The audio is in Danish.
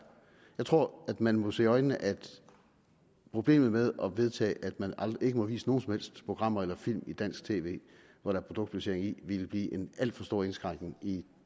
jeg tror at man må se i øjnene at problemet med at vedtage at man ikke må vise nogen som helst programmer eller film i dansk tv hvor der er produktplacering i ville blive en alt for stor indskrænkning i